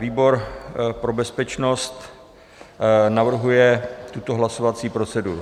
Výbor pro bezpečnost navrhuje tuto hlasovací proceduru: